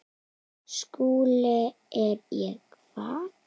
SKÚLI: Er ég hvað?